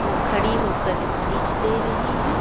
ओ खड़ी होकर स्पीच दे रहीं है ।